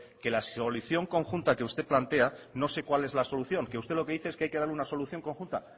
que la solución conjunta que usted plantea no sé cuál es la solución si usted lo que dice es que hay que darle una solución conjunta